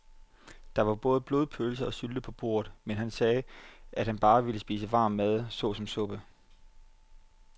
Der var både blodpølse og sylte på bordet, men han sagde, at han bare ville spise varm mad såsom suppe.